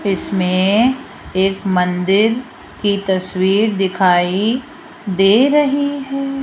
इसमें एक मंदिर की तस्वीर दिखाई दे रही है।